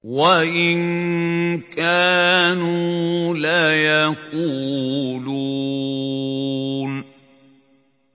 وَإِن كَانُوا لَيَقُولُونَ